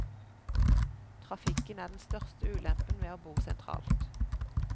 Trafikken er den største ulempen ved å bo sentralt.